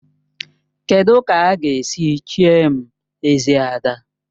Kedụ ka a ga-esi chie m Ezi Ada?